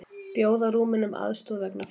Bjóða Rúmenum aðstoð vegna flóða